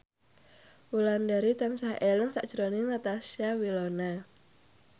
Wulandari tansah eling sakjroning Natasha Wilona